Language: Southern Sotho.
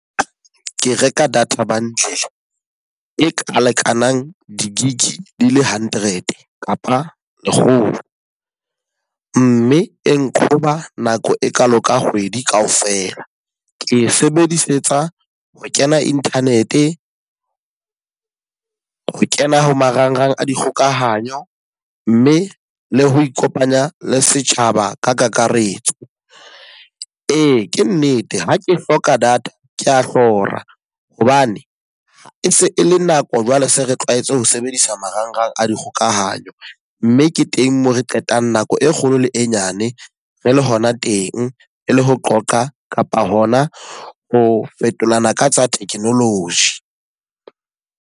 Ke reka data bundle e ka lekanang di-gig di le hundred kapa lekgolo. Mme e nqhoba nako e kalo ka kgwedi ka ofela. Ke e sebedisetsa ho kena internet, ho kena ho marangrang a dikgokahanyo, mme le ho ikopanya le setjhaba ka kakaretso. Ee, ke nnete ha ke hloka data ke a hlora hobane e se e le nako jwale se re tlwaetse ho sebedisa marangrang a dikgokahanyo. Mme ke teng e mo re qetang nako e kgolo le e nyane re le hona teng e le ho qoqa kapa hona ho fetolana ka tsa technology.